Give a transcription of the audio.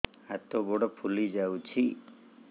ହାତ ଗୋଡ଼ ଫୁଲି ଯାଉଛି